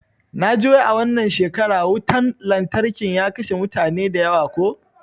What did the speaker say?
Naji wai a wannan shekara wutan lantarkin ya kashe mutane da yawa ko?